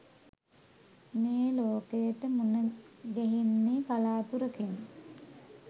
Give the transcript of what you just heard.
මේ ලෝකයට මුණගැහෙන්නේ කළාතුරකින්.